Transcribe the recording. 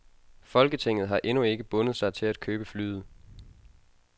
Folketinget har endnu ikke bundet sig til at købe flyet.